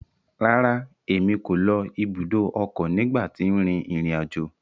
Rárá, Èmí ko ló ibùdó ọkọ nigba ti n rin irin ajo